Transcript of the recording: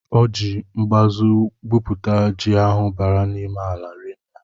O jị mbazu gwuputa ji ahụ bara ime ala rinne.